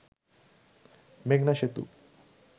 মেঘনা সেতু